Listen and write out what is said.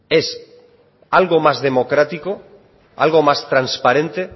es algo más democrático algo más transparente